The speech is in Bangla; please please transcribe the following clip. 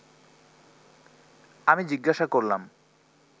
আমি জিজ্ঞাসা করলাম